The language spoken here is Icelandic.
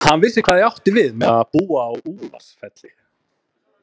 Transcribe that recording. Hann vissi hvað ég átti við með að búa á Úlfarsfelli.